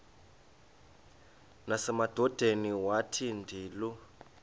nasemadodeni wathi ndilu